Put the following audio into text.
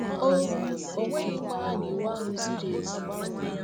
O O nweghi mgbághá na iwu ahụ ziri ezi..